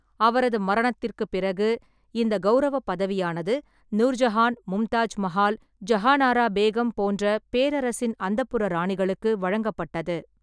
அவரது மரணத்திற்குப் பிறகு, இந்த கௌரவப் பதவியானது நூர்ஜஹான், மும்தாஜ் மஹால், ஜஹானாரா பேகம் போன்ற பேரரசின் அந்தப்புற ராணிகளுக்கு வழங்கப்பட்டது.